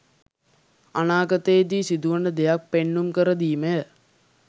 අනාගතයේදී සිදුවන දෙයක් පෙන්නුම් කර දීමය.